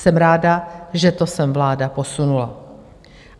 Jsem ráda, že to sem vláda posunula.